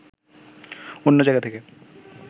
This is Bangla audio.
অন্য জায়গা থেকে